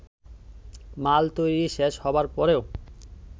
মাল তৈরি শেষ হবার পরেও